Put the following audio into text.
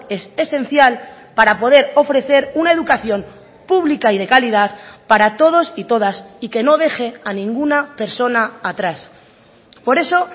es esencial para poder ofrecer una educación pública y de calidad para todos y todas y que no deje a ninguna persona atrás por eso